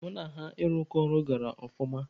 Mụ na ha ịrụkọ ọrụ gara ọfụma.